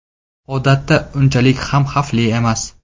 Odatda, unchalik ham xavfli emas.